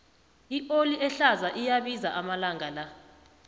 ioli ehlaza iyabiza amalanga la